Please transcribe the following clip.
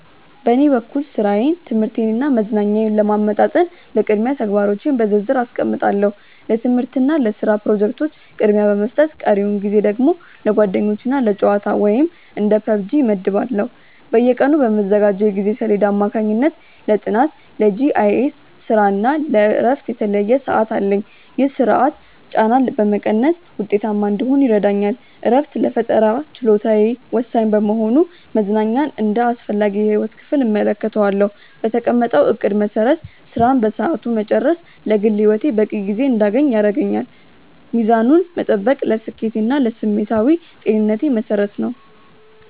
በኔ በኩል ሥራዬን ትምህርቴንና መዝናኛዬን ለማመጣጠን በቅድሚያ ተግባሮቼን በዝርዝር አስቀምጣለሁ። ለትምህርትና ለስራ ፕሮጀክቶች ቅድሚያ በመስጠት ቀሪውን ጊዜ ደግሞ ለጓደኞችና ለጨዋታ (እንደ PUBG) እመድባለሁ። በየቀኑ በምዘጋጀው የጊዜ ሰሌዳ አማካኝነት ለጥናት፣ ለGIS ስራና ለእረፍት የተለየ ሰዓት አለኝ። ይህ ስርዓት ጫናን በመቀነስ ውጤታማ እንድሆን ይረዳኛል። እረፍት ለፈጠራ ችሎታዬ ወሳኝ በመሆኑ መዝናኛን እንደ አስፈላጊ የህይወት ክፍል እመለከተዋለሁ። በተቀመጠው እቅድ መሰረት ስራን በሰዓቱ መጨረስ ለግል ህይወቴ በቂ ጊዜ እንድያገኝ ያደርገኛል። ሚዛኑን መጠበቅ ለስኬቴና ለስሜታዊ ጤንነቴ መሰረት ነው።